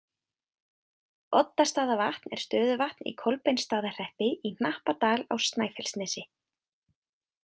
Oddastaðavatn er stöðuvatn í Kolbeinsstaðahreppi í Hnappadal á Snæfellsnesi.